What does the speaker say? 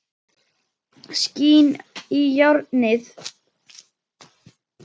Skín í járnið.